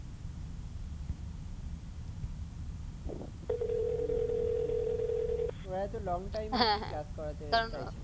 হ্যাঁ হ্যাঁ ঠিক ঠিক এরাতো long time class করাতে চাইছে না।